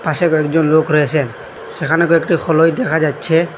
পাশে কয়েকজন লোক রয়েসেন সেখানে কয়েকটি খোলোই দেখা যাচ্ছে।